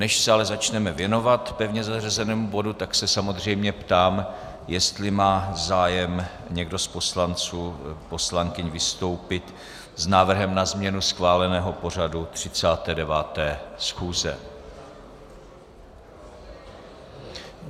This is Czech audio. Než se ale začneme věnovat pevně zařazenému bodu, tak se samozřejmě ptám, jestli má zájem někdo z poslanců, poslankyň vystoupit s návrhem na změnu schváleného pořadu 39. schůze.